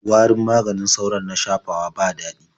Warin maganin sauron na shafawa ba daɗi.